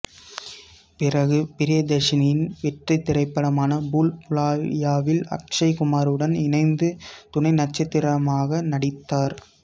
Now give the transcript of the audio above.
பிறகு பிரியதர்ஷனின் வெற்றித் திரைப்படமான பூல் புலய்யாவில் அக்சய் குமாருடன் இணைந்து துணைநட்சத்திரமாக நடித்தார்